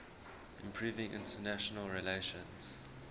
improving international relations